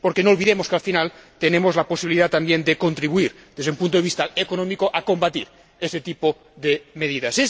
Porque no olvidemos que, al final, tenemos la posibilidad también de contribuir, desde un punto de vista económico, a combatir ese tipo de medidas.